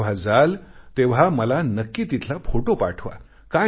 तुम्ही जेव्हा जाल तेव्हा मला नक्की तिथला फोटो पाठवा